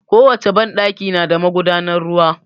Ko wace banɗaki na da magudanan ruwa